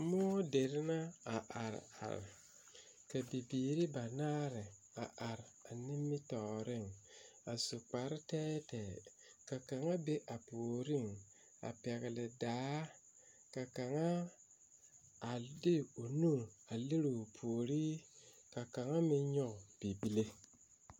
Moɔ deri na a are are ka bibiiri ba naare a are a nimitɔɔriŋ a su kpare tɛɛtɛɛ ka kaŋa be a puoriŋ a pɛgle daa ka kaŋa a de o nu a lere o puori ka kaŋa meŋ nyɔge bibile.